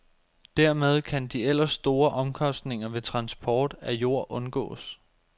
Dermed kan de ellers store omkostninger ved transport af jord undgås.